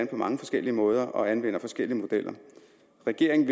på mange forskellige måder og anvender forskellige modeller regeringen